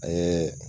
A ye